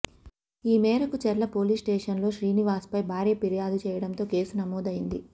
ఈ మేరకు చర్ల పోలీస్ స్టేషన్లో శ్రీనివాస్పై భార్య పిర్యాదు చేయటంతో కేసు నమోదైంది